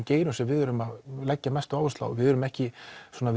geirum sem við erum að leggja mesta áherslu á við erum ekki svona